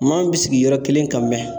Maa min bɛ sigi yɔrɔ kelen ka mɛn